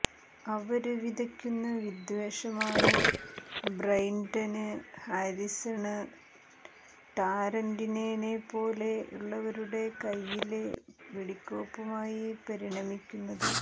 അവര് വിതയ്ക്കുന്ന വിദ്വേഷമാണ് ബ്രെന്ഡന് ഹാരിസണ് ടാരന്റിനെനെപ്പോലുള്ളവരുടെ കൈയിലെ വെടിക്കോപ്പുകളായി പരിണമിക്കുന്നത്